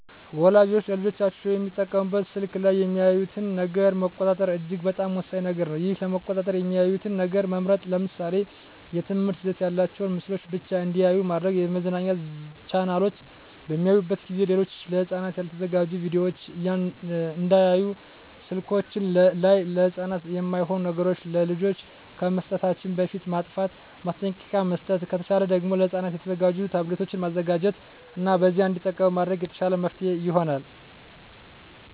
ወላጆች ለልጆቻቸው የሚጠቀሙበት ስልክ ላይ የሚያዩትን ነገር መቆጣጠር እጅግ በጣም ወሳኝ ነገር ነው ይህን ለመቆጣጠር የሚያዩትን ነገር መምረጥ ለምሳሌ የትምህርት ይዘት ያላቸውን ምስሎችን ብቻ እንዲያዩ ማድረግ የመዝናኛ ቻናሎችን በሚያዩበት ጊዜ ሌሎች ለህፃናት ያልተዘጋጁ ቪዲዮወችን እንዳያዩ ስልከችን ላይ ለህፃናት የማይሆኑ ነገሮች ለልጆች ከመስጠታችን በፊት ማጥፍት ማስጠንቀቂያ መስጠት ከተቻለ ደግም ለህፃናት የተዘጋጁ ታብሌቶችን መዘጋጀት እና በዚያ እንዲጠቀሙ ማድረግ የተሻለ መፍትሔ ይሆናል።